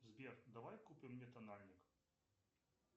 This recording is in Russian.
сбер давай купим мне тональник